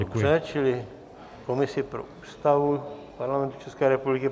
Dobře, čili komisi pro Ústavu Parlamentu České republiky.